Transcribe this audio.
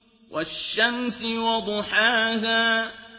وَالشَّمْسِ وَضُحَاهَا